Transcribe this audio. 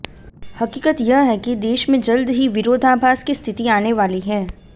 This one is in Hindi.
हकीकत यह है कि देश में जल्द ही विरोधाभास की स्थिति आने वाली है